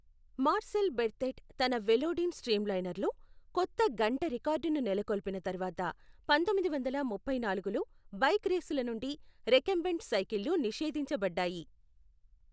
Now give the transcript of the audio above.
Marcel Berthet తన Velodyne స్ట్రీమ్లైనర్లో, కొత్త గంట రికార్డును నెలకొల్పిన తర్వాత పంతొమ్మిది వందల ముప్పై నాలుగులో బైక్ రేసుల నుండి రెకంబెంట్ సైకిళ్లు నిషేధించబడ్డాయి.